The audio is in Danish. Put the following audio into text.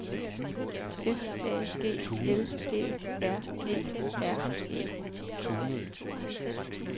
F A G L Æ R E R E